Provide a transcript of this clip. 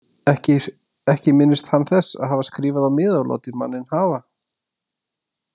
Ekki minnist hann þess að hafa skrifað á miða og látið manninn hafa.